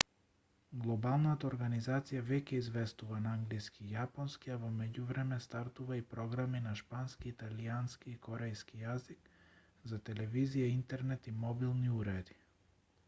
глобалната организација веќе известува на англиски и јапонски а во меѓувреме стартува и програми на шпански италијански и корејски јазик за телевизија интернет и мобилни уреди